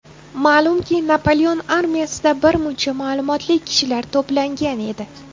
Ma’lumki, Napoleon armiyasida birmuncha ma’lumotli kishilar to‘plangan edi.